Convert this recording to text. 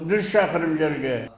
жүз шақырым жерге